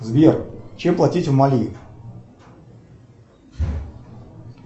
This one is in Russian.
сбер чем платить в мали